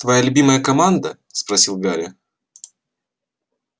твоя любимая команда спросил гарри